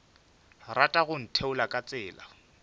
rata go ntheola ka tsela